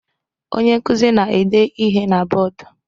Onye nkuzi na-ede ihe na bọdụ.